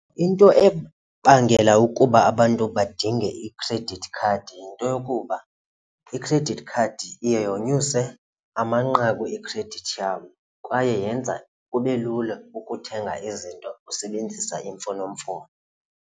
Into ebangela ukuba abantu badinge i-credit card yinto yokuba i-credit card iye yonyuse amanqaku ekhredithi yabo kwaye yenza kube lula ukuthenga izinto usebenzisa imfonomfono.